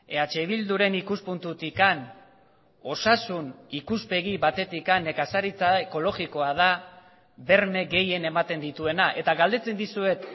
eh bilduren ikuspuntutik osasun ikuspegi batetik nekazaritza ekologikoa da berme gehien ematen dituena eta galdetzen dizuet